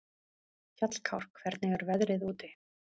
Hjallkár, hvernig er veðrið úti?